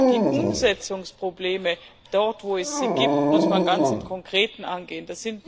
Die Umsetzungsprobleme dort, wo es sie gibt muss man ganz im Konkreten angehen.